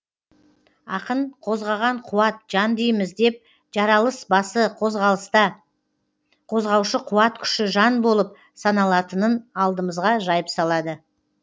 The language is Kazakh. ақын қозғаған қуат жан дейміз деп жаралыс басы қозғалыста қозғаушы қуат күші жан болып саналатынын алдымызға жайып салады